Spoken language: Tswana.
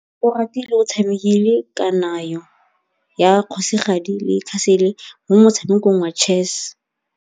Oratile o tshamekile kananyô ya kgosigadi le khasêlê mo motshamekong wa chess.